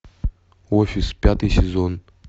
офис пятый сезон